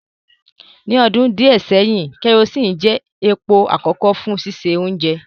Ni ọdun diẹ sẹhin, kerosene jẹ epo akọkọ fun sise ounje